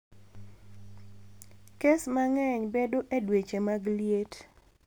Kes mang`eny bedo e dweche mag liet.